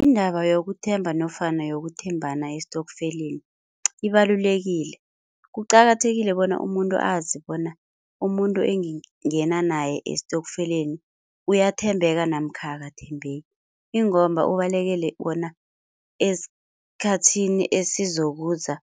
Indaba yokuthemba nofana yokuthembana estofkeleni ibalulekile. Kuqakathekile bona umuntu azi bona umuntu engingena naye estofkeleni uyathembeka namkha akathembeki ingomba ubalekele bona esikhathini esizokuza